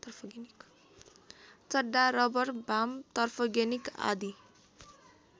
चड्डा रबर वाम तर्फगेनिक आदि